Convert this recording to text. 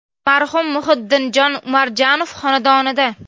Marhum Muhiddinjon Umarjonov xonadonida.